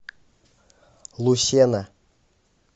лусена